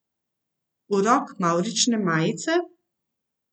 Urok mavrične majice?